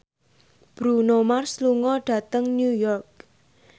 Bruno Mars lunga dhateng New York